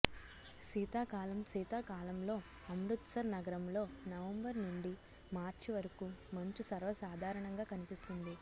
శీతాకాలంశీతాకాలంలో అమృత్సర్ నగరంలో నవంబర్ నుండి మార్చి వరకు మంచు సర్వసాధారణంగా కనిపిస్తుంది